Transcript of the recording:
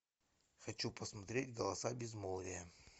хочу посмотреть голоса безмолвия